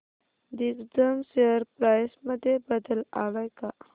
Digjam share price मध्ये बदल आलाय का